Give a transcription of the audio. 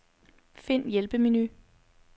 Find hjælpemenu.